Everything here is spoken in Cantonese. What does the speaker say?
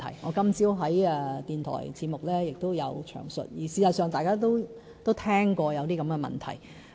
我今天早上在電台節目中亦有詳述，而事實上，大家都聽過有這些問題。